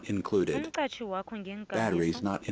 umqatjhi wakho ngeenkambiso